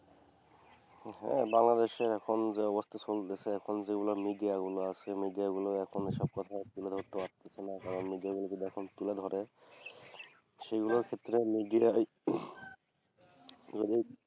হ্যাঁ বাংলাদেশে এখন যা অবস্থা চলতেসে এখন যেগুলা মিডিয়াগুলা আছে মিডিয়াগুলা এখন সেসব কথা তুলে ধরতে পারতেসেনা কারণ মিডিয়াগুলি যদি এখন তুলে ধরে সেইগুলা ক্ষেত্রে মিডিয়াই যদি